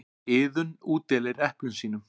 Iðunn útdeilir eplum sínum.